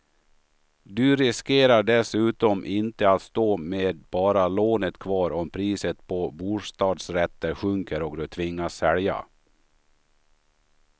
Du riskerar dessutom inte att stå med bara lånet kvar om priset på bostadsrätter sjunker och du tvingas sälja.